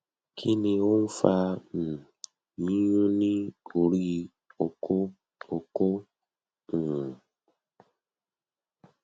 ki ni o n fa um yiyun ni ori oko oko um